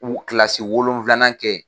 U kilalasi wolonfila kɛ ye.